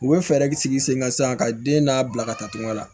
U bɛ fɛɛrɛ sigi sen kan sisan ka den n'a bila ka taa tugun la